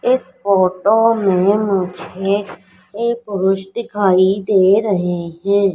इस फोटो में मुझे ये पुरुष दिखाई दे रहे हैं।